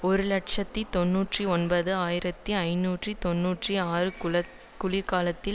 ஒரு இலட்சத்தி தொன்னூற்றி ஒன்பது ஆயிரத்தி ஐநூற்று தொன்னூற்றி ஆறு குளிர்காலத்தில்